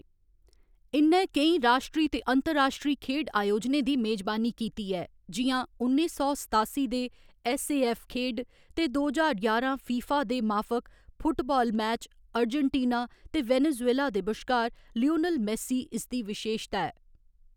इ'न्नै केईं राश्ट्री ते अंतर्राश्ट्री खेढ आयोजनें दी मेजबानी कीती ऐ जि'यां उन्नी सौ सतासी दे ऐस्स.ए.ऐफ्फ. खेढ ते दो ज्हार ञारां फीफा दे माफक फुटबाल मैच अर्जेंटीना ते वेनेजुएला दे बश्कार लियोनेल मेस्सी इसदी विशेशता ऐ।